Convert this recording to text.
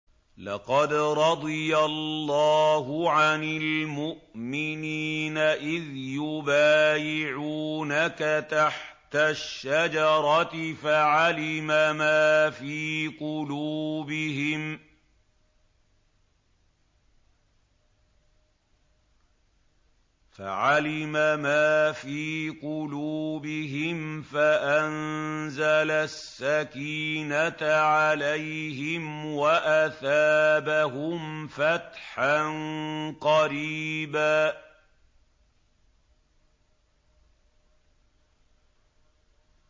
۞ لَّقَدْ رَضِيَ اللَّهُ عَنِ الْمُؤْمِنِينَ إِذْ يُبَايِعُونَكَ تَحْتَ الشَّجَرَةِ فَعَلِمَ مَا فِي قُلُوبِهِمْ فَأَنزَلَ السَّكِينَةَ عَلَيْهِمْ وَأَثَابَهُمْ فَتْحًا قَرِيبًا